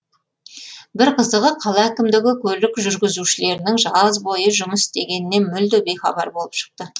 бір қызығы қала әкімдігі көлік жүргізушілерінің жаз бойы жұмыс істегенінен мүлде бейхабар болып шықты